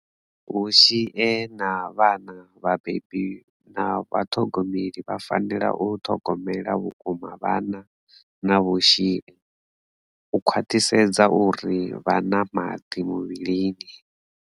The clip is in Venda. Vhushie na vhana vhabebi na vhaṱhogomeli vha fanela u ṱhogomela vhukuma vhana na vhushie, u khwaṱhisedza uri vha na maḓi muvhilini.